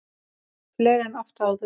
Fleiri en oft áður.